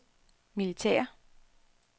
militære